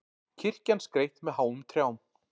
Kirkjan skreytt með háum trjám